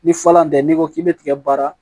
Ni falan tɛ n'i ko k'i bɛ tigɛ baara